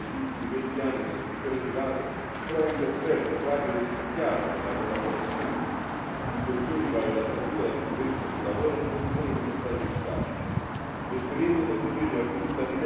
Tutte le iniziative volontarie intraprese negli ultimi venti anni dal settore privato, pur avendo offerto quadri essenziali per la collaborazione in questioni quali la salute e la sicurezza sul lavoro, non si sono dimostrate efficaci.